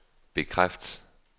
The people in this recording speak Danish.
bekræft